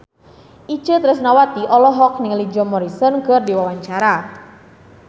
Itje Tresnawati olohok ningali Jim Morrison keur diwawancara